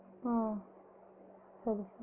ஆஹ் சரி